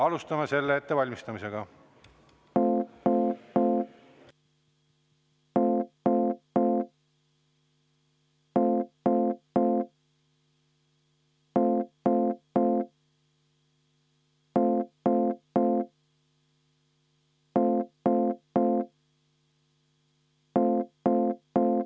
Alustame selle ettevalmistamist.